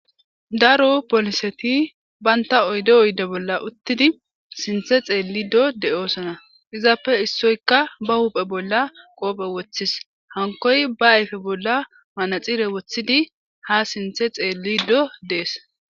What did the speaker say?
daro poliseti banta oyde oyde bolla uttidi sinthe xeellido de7oosona izaappe issoyka ba huuphe bolla qoophe woththis hankoy ba ayfe bolla manaxire woththidi ha sinthe xeellido dees